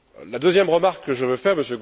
La deuxième remarque que je veux faire M.